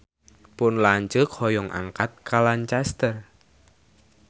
Pun lanceuk hoyong angkat ka Lancaster